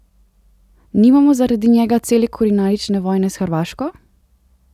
Nimamo zaradi njega cele kulinarične vojne s Hrvaško?